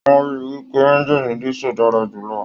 Wọn rí wípé ẹ̀ngiini disu dára jùlọ.